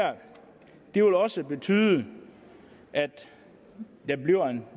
det her vil også betyde at der bliver en